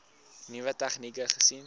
nuwe tegnieke gesien